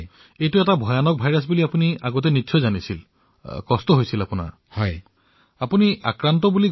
আৰু ইয়াৰ পূৰ্বে এয়াতো গম পাইছিল যে এই ভাইৰাছবিধ বহু ভয়ংকৰ সমস্যা হব পাৰে